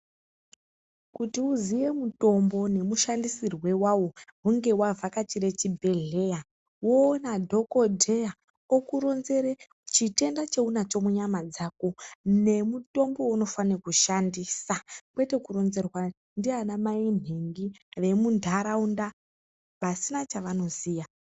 Kuti uziye mutombo nemushandisirwe wawo hunhe wavhakachire chibhedhleya woona dhokodheya okuronzere chitenda chaunacho munyama dzako nemutombo weunofane kushandisa kwete kuronzerwa ndiana mai nhingi vemuntaraunda vasina chavanoziya.